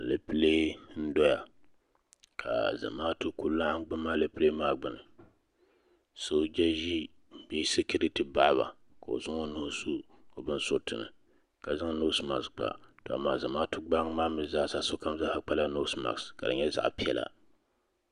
Alɛpilɛ n dɔya ka zamaatu ku laɣim gili alɛpilɛ maa gbuni sooja ʒi bee sikiriti paɣa la ka o zaŋ o nuu su o binsuriti ni ka zaŋ noosi maks kpa ka lala zamaatu gbaliŋ maa mi zaa sa sokam kpa la noosi maks ka di nyɛ zaɣa piɛla.